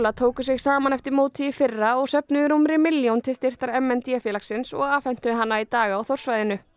tóku sig saman eftir mótið í fyrra og söfnuðu rúmri milljón til styrktar m n d félagsins og afhentu hana í dag á Þórssvæðinu